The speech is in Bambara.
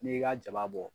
N'i y'i ka jaba bɔ